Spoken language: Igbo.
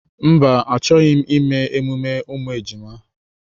Mba, achọghị m ime emume ụmụ ejima